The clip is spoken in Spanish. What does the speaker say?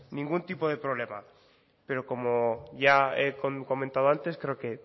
ningún tipo de problema pero como ya he comentado antes creo que